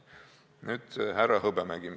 Nüüd härra Hõbemägi.